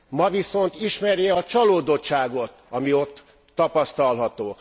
Ma viszont ismeri a csalódottságot, ami ott tapasztalható.